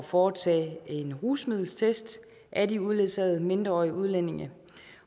foretage en rusmiddeltest af de uledsagede mindreårige udlændinge